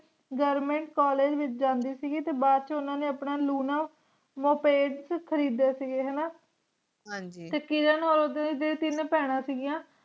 Government College ਵਿਚ ਜਾਂਦੀ ਸੀਗੀ ਤੇ ਬਾਅਦ ਵਿਚ ਉਨ੍ਹਾ ਨੇ ਆਪਣਾ ਖਰੀਦੇ ਸੀਗੇ ਹਣਾ